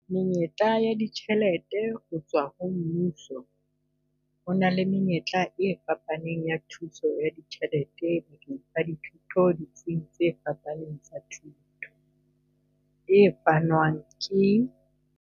Menyetla ya ditjhelete ho tswa ho mmuso. Ho na le menyetla e fapaneng ya thuso ya ditjhelete bakeng sa dithuto ditsing tse phahameng tsa thuto, e fanwang ke.